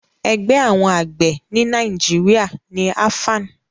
Ẹgbẹ́ àwọn àgbẹ̀ ni Nàìjíríà ni AFAN